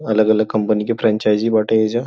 अलग-अलग कंपनी के फ्रैंचाइज़ी बाटे एहिजा।